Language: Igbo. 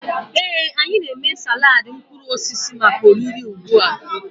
Ee, anyị na-eme salad mkpụrụ osisi maka oriri ugbu a.